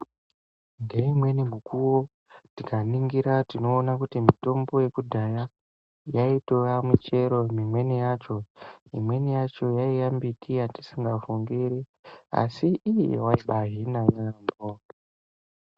Ngeimweni mukuwo tikaningira tinoona kuti mitombo yekudhaya yaitova michero mimweni yacho imweni yacho yaiya mbiti yatisingafungiri asi iyi yaibahina yamho.